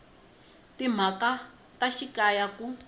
ya timhaka ta xikaya ku